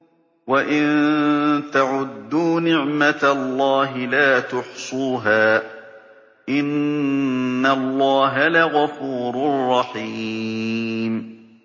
وَإِن تَعُدُّوا نِعْمَةَ اللَّهِ لَا تُحْصُوهَا ۗ إِنَّ اللَّهَ لَغَفُورٌ رَّحِيمٌ